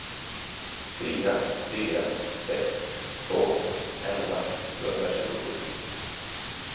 fyra fyra sex två elva sjuhundratjugosju